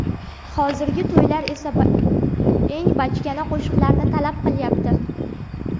Hozirgi to‘ylar esa eng bachkana qo‘shiqlarni talab qilyapti .